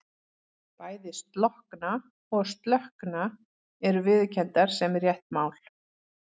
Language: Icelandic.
Bæði slokkna og slökkna eru viðurkenndar sem rétt mál.